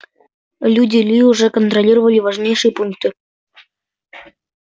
люди ли уже контролировали важнейшие пункты